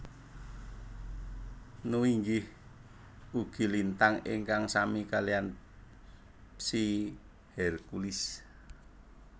Nu inggih ugi lintang ingkang sami kaliyan Psi Herculis